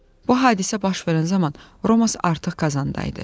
Bu hadisə baş verən zaman Romas artıq qazanda idi.